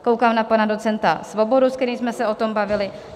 Koukám na pana docenta Svobodu, se kterým jsme se o tom bavili.